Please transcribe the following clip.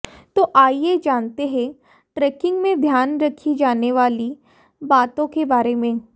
तो आइये जानते हैं ट्रेकिंग में ध्यान रखी जाने वाली बातों के बारे में